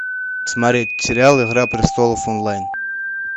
смотреть сериал игра престолов онлайн